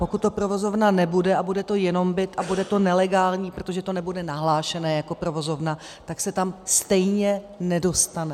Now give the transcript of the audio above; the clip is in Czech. Pokud to provozovna nebude a bude to jenom byt a bude to nelegální, protože to nebude nahlášené jako provozovna, tak se tam stejně nedostane.